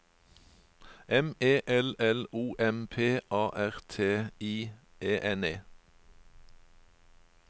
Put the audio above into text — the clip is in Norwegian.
M E L L O M P A R T I E N E